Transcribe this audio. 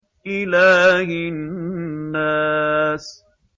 إِلَٰهِ النَّاسِ